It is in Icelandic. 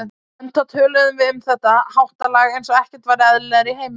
Enda töluðum við um þetta háttalag eins og ekkert væri eðlilegra í heiminum.